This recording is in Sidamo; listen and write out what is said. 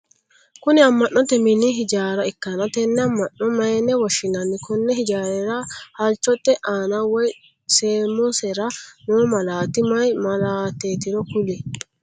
Kunni amma'note minni hijaara ikanna tenne amma'no mayinne woshinnanni? Konni hijaarira heelichote aanna woyi samosera noo malaati mayi malaateetiro kuli?